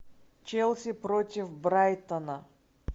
челси против брайтона